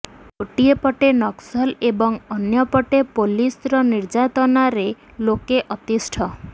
ଗୋଟିଏ ପଟେ ନକ୍ସଲ ଏବଂ ଅନ୍ୟ ପଟେ ପୋଲିସର ନିର୍ଯାତନାରେ ଲୋକେ ଅତିଷ୍ଠ